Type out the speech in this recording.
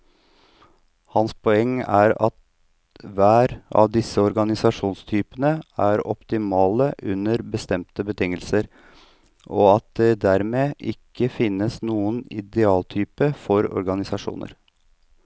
Hans poeng er at hver av disse organisasjonstypene er optimale under bestemte betingelser, og at det dermed ikke finnes noen idealtype for organisasjoner.